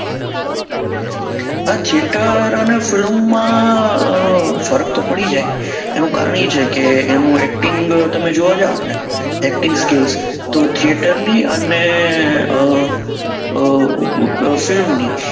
આ theater અને film માં ફર્ક તો પડી જાય એનું કારણ એ છે કે એમો acting તમે જોવા જાવ તો acting skills તો theater ની અને અ અ film ની